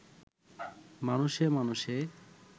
মানুষে-মানুষে